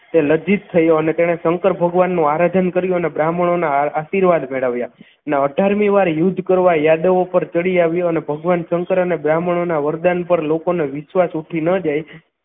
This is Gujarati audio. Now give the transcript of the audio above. તે લજ્જિત થયો અને તેણે શંકર ભગવાનનું આરાધન કર્યું અને બ્રાહ્મણોના આશીર્વાદ મેળવ્યા અઠાર મી વાર યુદ્ધ કરવા યાદવો પર ચડી આવ્યો અને ભગવાન શંકર અને બ્રાહ્મણોના વરદાન પર લોકોને વિશ્વાસ ઉઠી ન જાય